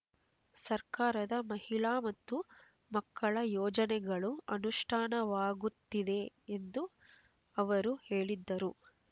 ಸರ್ಕಾರದ ಮಹಿಳಾ ಮತ್ತು ಮಕ್ಕಳ ಯೋಜನೆಗಳು ಅನುಷ್ಠಾನವಾಗುತ್ತಿವೆ ಎಂದು ಅವರು ಹೇಳಿದರು